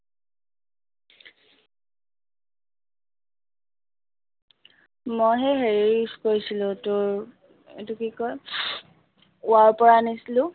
মই সেই হেৰি use কৰিছিলো তোৰ, এইটো কি কয়, পৰা আনিছিলো